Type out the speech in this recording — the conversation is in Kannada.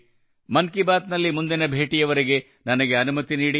ಮನ್ ಕಿ ಬಾತ್ ನಲ್ಲಿ ಮುಂದಿನ ಭೇಟಿಯವರೆಗೆ ನನಗೆ ಅನುಮತಿ ನೀಡಿ